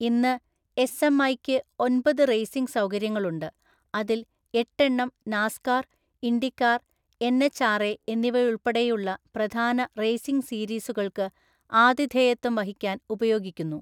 ഇന്ന് എസ്എംഐയ്ക്ക് ഒൻപത് റേസിംഗ് സൗകര്യങ്ങളുണ്ട്, അതിൽ എട്ട് എണ്ണം നാസ്കാർ, ഇൻഡികാർ, എൻഎച്ച്ആർഎ എന്നിവയുൾപ്പെടെയുള്ള പ്രധാന റേസിംഗ് സീരീസുകൾക്ക് ആതിഥേയത്വം വഹിക്കാൻ ഉപയോഗിക്കുന്നു.